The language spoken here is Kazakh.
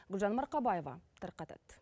гүлжан марқабаева тарқатады